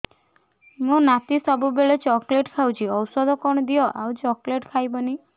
ମୋ ନାତି ସବୁବେଳେ ଚକଲେଟ ଖାଉଛି ଔଷଧ କଣ ଦିଅ ଆଉ ଚକଲେଟ ଖାଇବନି